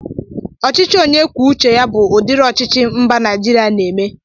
Ọchịchị onye kwuo uche ya bụ udiri ọchịchị mba Naịjiria na-eme